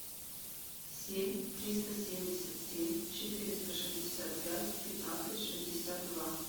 семь триста семьдесят семь четыреста шестьдесят пять пятнадцать шестьдесят два